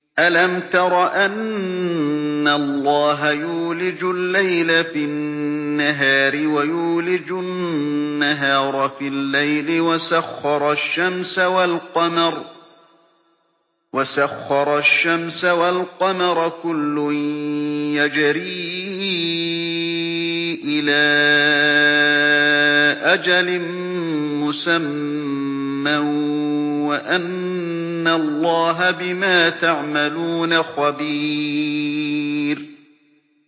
أَلَمْ تَرَ أَنَّ اللَّهَ يُولِجُ اللَّيْلَ فِي النَّهَارِ وَيُولِجُ النَّهَارَ فِي اللَّيْلِ وَسَخَّرَ الشَّمْسَ وَالْقَمَرَ كُلٌّ يَجْرِي إِلَىٰ أَجَلٍ مُّسَمًّى وَأَنَّ اللَّهَ بِمَا تَعْمَلُونَ خَبِيرٌ